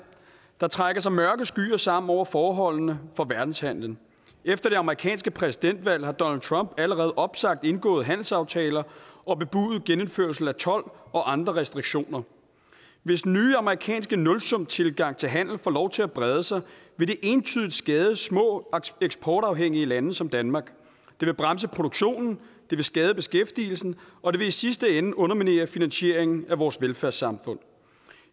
der trækker sig mørke skyer sammen over forholdene for verdenshandelen efter det amerikanske præsidentvalg har donald trump allerede opsagt indgåede handelsaftaler og bebudet genindførelse af told og andre restriktioner hvis den nye amerikanske nulsumstilgang til handel får lov til at brede sig vil det entydigt skade små eksportafhængige lande som danmark det vil bremse produktionen det vil skade beskæftigelsen og det vil i sidste ende underminere finansieringen af vores velfærdssamfund